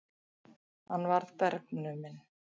Hann varð bergnuminn.